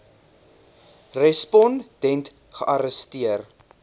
respon dent gearresteer